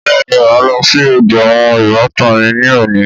Bẹ́ẹ̀ni mà ló sí ọ̀dọ àwọn ìbátan mi ní òní.